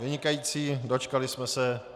Vynikající, dočkali jsme se.